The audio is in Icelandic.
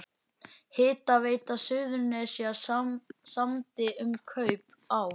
Hitaveita Suðurnesja samdi um kaup á